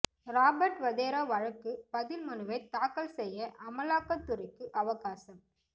ரபார்ட் வதேரா வழக்கு பதில் மனுவை தாக்கல் செய்ய அமலாக்க துறைக்கு அவகாசம்